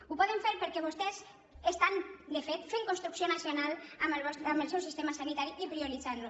ho poden fer perquè vostès de fet fan construcció nacional amb el seu sistema sanitari i prioritzant lo